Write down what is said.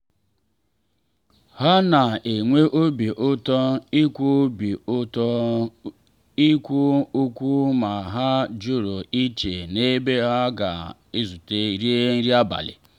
ha na-enwe obi ụtọ ikwu obi ụtọ ikwu okwu ma ha jụrụ iche n’ebe ha ga-ezute rie nri abalị.